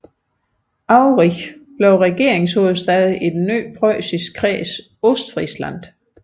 Aurich blev regeringshovedstad i den nye preussiske Kreds Ostfriesland